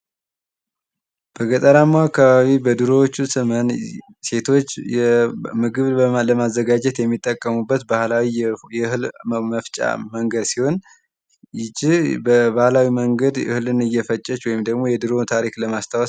በገጠራማው አካባቢ በድሮዎቹ ዘመን ሴቶች ምግብ ለማዘጋጀት የሚጠቀሙበት ባህላዊ የእህል መፍጫ መንገድ ሲሆን ይቺ በባህላዊ መንገድ እህሉን እየፈጨች ወይም ደግሞ የድሮውን ታሪክ ለማስታወስ።